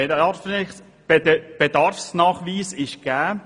Der Bedarfsnachweis ist gegeben.